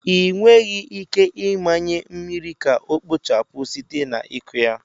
Ị nweghị ike ịmanye mmiri ka ọ kpochapụ site na ịkụ ya.